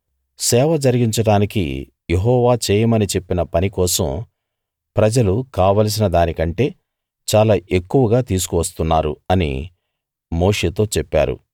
సేవ జరిగించడానికి యెహోవా చేయమని చెప్పిన పని కోసం ప్రజలు కావలసిన దానికంటే చాలా ఎక్కువగా తీసుకు వస్తున్నారు అని మోషేతో చెప్పారు